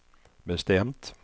bestämt